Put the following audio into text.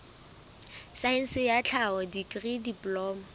saense ya tlhaho dikri diploma